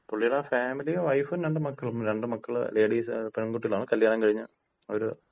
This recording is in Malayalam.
പുള്ളിടെ ഫാമിലി, വൈഫും രണ്ട് മക്കളും. രണ്ടു മക്കള് ലേഡീസ് ആണ്, പെൺകുട്ടികളാണ്. കല്യാണം കഴിഞ്ഞ് അവര്,